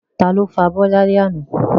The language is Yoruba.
Ta ló fọ abọ́ ní alẹ́ àná?